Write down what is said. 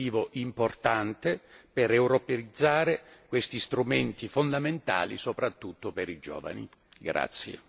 Ciò rappresenta un incentivo importante per europeizzare questi strumenti fondamentali, soprattutto per i giovani.